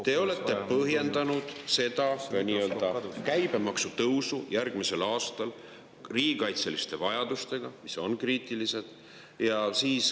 Te olete põhjendanud käibemaksu tõusu järgmisel aastal riigikaitseliste vajadustega, mis on kriitilised.